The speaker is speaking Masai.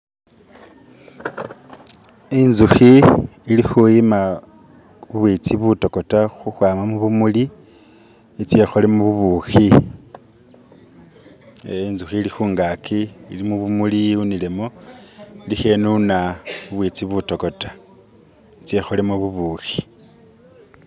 inzuhi ilihuyima ubwitsi butokota huhwama mubumuli itsye holemu ubuhi ee inzuhi ilihungaki ili mubumuli yiwunilemo iliho inuna ubwitsi butokota itsye holemo bubuhi